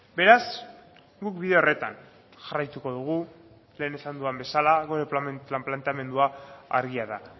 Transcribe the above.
beraz guk bide horretan jarraituko dugu lehen esan duda bezala gure planteamendua argia da